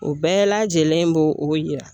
O bɛɛ lajɛlen b'o o yira